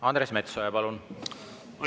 Andres Metsoja, palun!